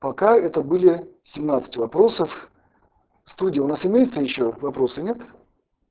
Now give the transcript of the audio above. пока это были семнадцать вопросов в студии у нас имеются ещё вопросы нет